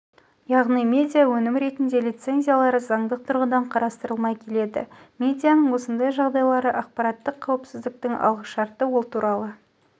яғни медиаөнім ретінде лицензиялары заңдық тұрғыдан қарастырылмай келеді медианың осындай жағдайлары ақпараттық қауіпсіздіктің алғышарты ол туралы